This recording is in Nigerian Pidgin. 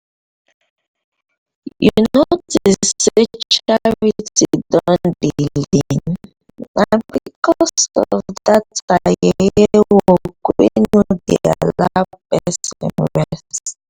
you notice say charity don dey lean? na because of dat her yeye work wey no dey allow person rest